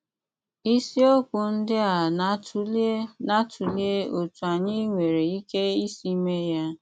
Ísíokwu ndí à na-àtụ́lè na-àtụ́lè ótú ányị́ nwéré íké ísì méé yá.